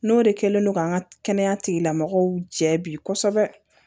N'o de kɛlen no k'an ka kɛnɛya tigilamɔgɔw jɛ bi kosɛbɛ